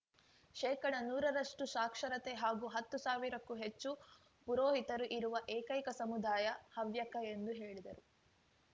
ಶೇಕಡನೂರರಷ್ಟುಸಾಕ್ಷರತೆ ಹಾಗೂ ಹತ್ತು ಸಾವಿರಕ್ಕೂ ಹೆಚ್ಚು ಪುರೋಹಿತರು ಇರುವ ಏಕೈಕ ಸಮುದಾಯ ಹವ್ಯಕ ಎಂದು ಹೇಳಿದರು